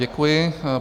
Děkuji.